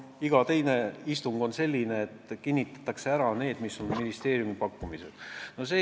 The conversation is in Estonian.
Iga teine istung on selline, kus kinnitatakse ära ministeeriumi pakutud projektid.